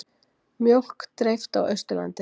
Mjólk dreift á Austurlandi